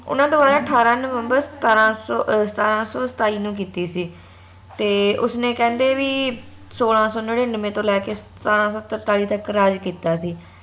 ਓਨਾ ਦ੍ਵਾਰਾ ਅਠਾਰਾਂ ਨਵੰਬਰ ਸਤਾਰਾਂ ਸੋ ਸਤਾਰਾਂ ਸੋ ਸਤਾਈ ਨੂੰ, ਕੀਤੀ ਸੀ ਤੇ ਉਸ ਨੇ ਕਹਿੰਦੇ ਵੀ ਸੋਲਾਂ ਸੋ ਨਿੰਨੀਨਵੇ ਤੋਂ ਲੈਕੇ ਸਤਾਰਾਂ ਸੋ ਤਰਤਾਲੀ ਤਕ ਰਾਜ ਕੀਤਾ ਸੀ